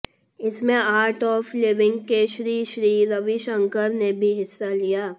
इसमें art of living के श्रीश्री रविशंकर ने भी हिस्सा लिया